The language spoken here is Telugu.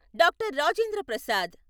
డాక్టర్. రాజేంద్ర ప్రసాద్